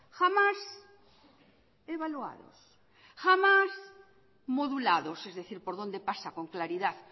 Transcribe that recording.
jamás evaluados jamás modulados es decir por dónde pasa con claridad